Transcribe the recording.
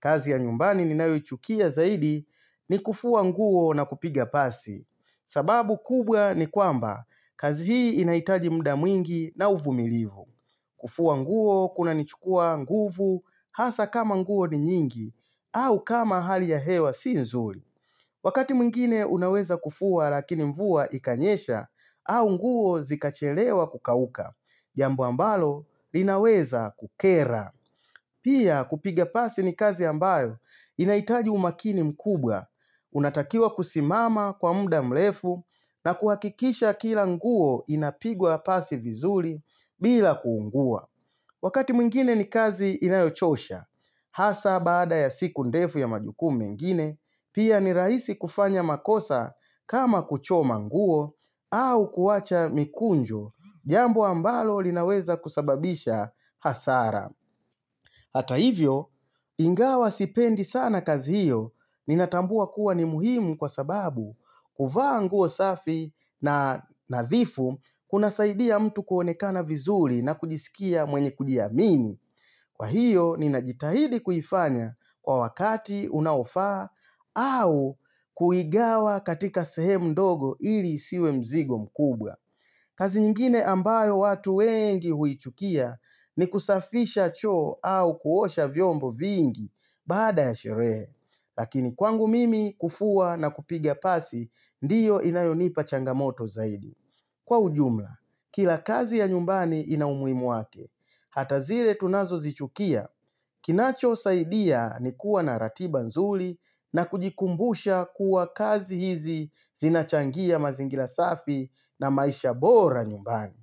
Kazi ya nyumbani ninayo ichukia zaidi ni kufua nguo na kupiga pasi. Sababu kubwa ni kwamba kazi hii inaitaji mda mwingi na uvumilivu. Kufua nguo kunanichukua nguvu hasa kama nguo ni nyingi au kama hali ya hewa si nzuri. Wakati mwngine unaweza kufua lakini mvua ikanyesha au nguo zikachelewa kukauka. Jambo ambalo linaweza kukera. Pia kupiga pasi ni kazi ambayo inaitaji umakini mkubwa, unatakiwa kusimama kwa muda mrefu na kuhakikisha kila nguo inapigwa pasi vizuri bila kuungua. Wakati mwingine ni kazi inayochosha, hasa bada ya siku ndefu ya majukumu mengine, pia ni raisi kufanya makosa kama kuchoma nguo au kuwacha mikunjo jambo ambalo linaweza kusababisha hasara. Hata hivyo, ingawa sipendi sana kazi hiyo ninatambua kuwa ni muhimu kwa sababu kuvaa nguo safi na nadhifu kuna saidia mtu kuonekana vizuri na kujisikia mwenye kujiamini. Kwa hiyo, ninajitahidi kuifanya kwa wakati unaofaa au kuigawa katika sehemu ndogo ili isiwe mzigo mkubwa. Kazi nyingine ambayo watu wengi huichukia ni kusafisha choo au kuosha vyombo vingi baada ya sherehe. Lakini kwangu mimi kufua na kupigia pasi ndiyo inayonipa changamoto zaidi. Kwa ujumla, kila kazi ya nyumbani inaumuhimu wake, hata zile tunazo zichukia, kinacho saidia ni kuwa na ratiba nzuri na kujikumbusha kuwa kazi hizi zinachangia mazingira safi na maisha bora nyumbani.